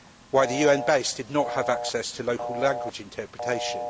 why the UN base did not have access to local language interpretation